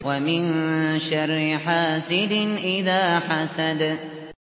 وَمِن شَرِّ حَاسِدٍ إِذَا حَسَدَ